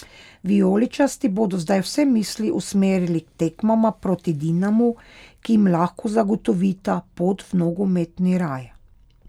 Vijoličasti bodo zdaj vse misli usmerili k tekmama proti Dinamu, ki jim lahko zagotovita pot v nogometni raj.